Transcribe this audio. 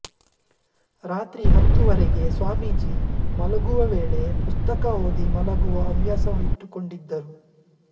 ರಾತ್ರಿ ಹತ್ತೂವರೆಗೆ ಸ್ವಾಮೀಜಿ ಮಲಗುವ ವೇಳೆ ಪುಸ್ತಕ ಓದಿ ಮಲಗುವ ಹವ್ಯಾಸವಿಟ್ಟುಕೊಂಡಿದ್ದರು